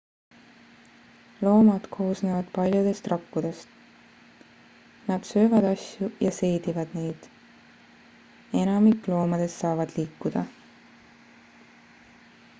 loomad koosnevad paljudest rakkudest nad söövad asju ja seedivad neid enamik loomadest saavad liikuda